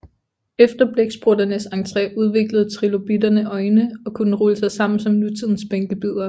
Efter blæksprutternes entré udviklede trilobitterne øjne og kunne rulle sig sammen som nutidens bænkebidere